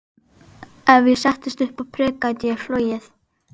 Ef ég settist upp á prik gæti ég flogið.